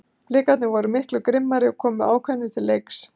Blikarnir voru miklu grimmari og komu ákveðnir til leiks.